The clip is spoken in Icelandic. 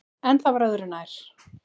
En það var öðru nær!